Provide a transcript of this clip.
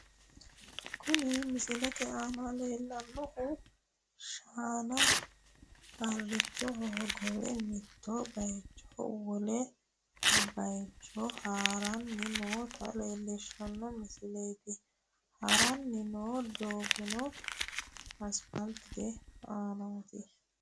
Kuni misilete aana leellannohu shaana harrichoho hogowe mittu bayiichini wole bayicho haranni noota leellishshanno misileeti, haranni noo doogono asipaaltete aanaati.